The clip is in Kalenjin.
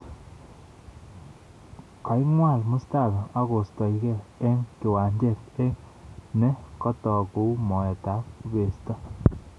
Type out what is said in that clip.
Koingwol Mustafi akoistogei eng kiwanjet eng ne kotook kou moet ab kubesto